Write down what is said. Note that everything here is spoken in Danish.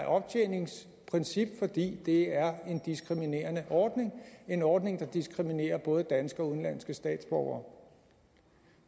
optjeningsprincip fordi det er en diskriminerende ordning en ordning der diskriminerer både danske og udenlandske statsborgere